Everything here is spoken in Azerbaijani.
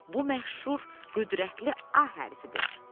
Bu məşhur, qüdrətli A hərfidir.